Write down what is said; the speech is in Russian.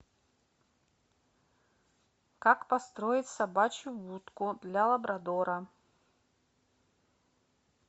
как построить собачью будку для лабрадора